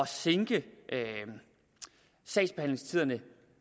sænke sagsbehandlingstiderne